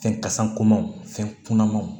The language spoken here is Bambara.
Fɛn kasa komanw fɛn kunamanw